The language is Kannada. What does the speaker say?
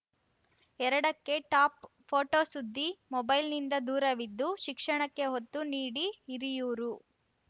ಎರಡಕ್ಕೆ ಟಾಪ್‌ ಫೋಟೋ ಸುದ್ದಿ ಮೊಬೈಲ್‌ನಿಂದ ದೂರವಿದ್ದು ಶಿಕ್ಷಣಕ್ಕೆ ಒತ್ತು ನೀಡಿ ಹಿರಿಯೂರು